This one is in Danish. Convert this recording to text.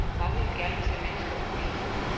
Mange vil gerne se mennesker på billederne.